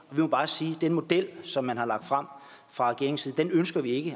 vil bare sige at den model som man har lagt frem fra regeringens side ønsker vi ikke